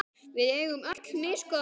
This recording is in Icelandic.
Við eigum öll misgóða daga.